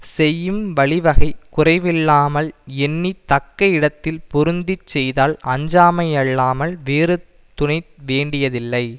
செய்யும் வழிவகை குறைவில்லாமல் எண்ணி தக்க இடத்தில் பொருந்தி செய்தால் அஞ்சாமை அல்லாமல் வேறு துணை வேண்டியதில்லை